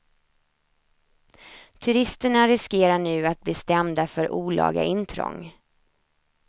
Turisterna riskerar nu att bli stämda för olaga intrång.